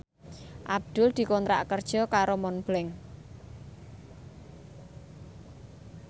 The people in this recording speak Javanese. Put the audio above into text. Abdul dikontrak kerja karo Montblanc